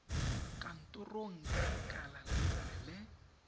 kantorong ya lekala lengwe le